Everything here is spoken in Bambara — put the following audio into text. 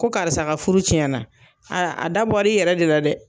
Ko karisa ka furu tiɲɛna a dabɔ i yɛrɛ de la dɛ.